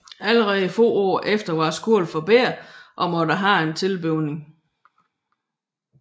Allerede få år efter var skolen for lille og måtte have en tilbygning